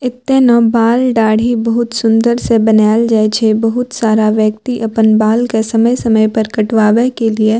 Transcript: एते ना बाल-दाढ़ी बहुत सुन्दर से बनाएल जाये छे बहुत सारा व्यक्ति अपन बाल के समय-समय पर कटवावे के लिए --